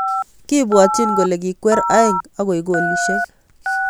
Kibwotchin kole kikwer aeng akoek golisiek.